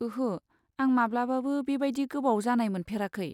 ओहो, आं माब्लाबाबो बेबायदि गोबाव जानाय मोनफेराखै।